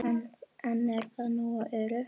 En er það nógu öruggt?